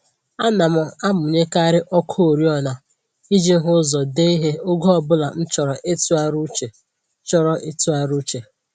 Ana m amụnyekarị ọkụ oriọna iji hụ ụzọ dee ihe oge ọbụla m chọrọ ịtụgharị uche chọrọ ịtụgharị uche